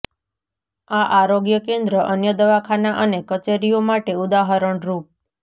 આ આરોગ્ય કેન્દ્ર અન્ય દવાખાના અને કચેરીઓ માટે ઉદાહરણરૂપ